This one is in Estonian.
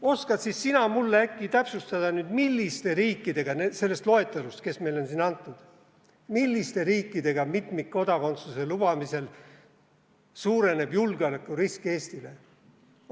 Oskad siis sina mulle äkki täpsustada nüüd, milliste riikidega sellest loetelust, kes meil on siin antud, mitmikkodakondsuse lubamisel suureneb julgeolekurisk Eestile?